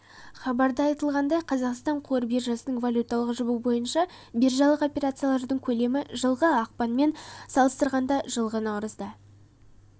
хабарда айтылғандай қазақстан қор биржасында валюталық жұбы бойынша биржалық операциялардың көлемі жылғы ақпанмен салыстырғанда жылғы наурызда